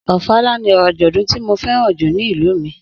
Ofala ni àjọ̀dún tí mo fẹ́ràn jù ní ìlú mi.